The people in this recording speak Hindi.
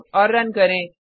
सेव और रन करें